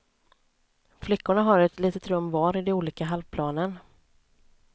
Flickorna har ett litet rum var i de olika halvplanen.